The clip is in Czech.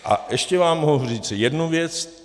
A ještě vám mohu říci jednu věc.